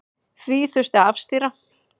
Því þurfi að afstýra.